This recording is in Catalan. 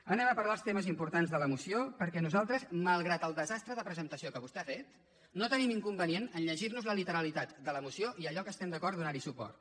anem a parlar dels temes importants de la moció perquè nosaltres malgrat el desastre de presentació que vostè ha fet no tenim inconvenient a llegir nos la literalitat de la moció i a allò que estem d’acord donar hi suport